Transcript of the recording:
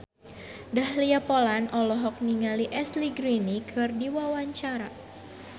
Dahlia Poland olohok ningali Ashley Greene keur diwawancara